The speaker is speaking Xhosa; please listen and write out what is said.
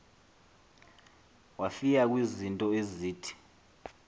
wafika kwizinto ezithi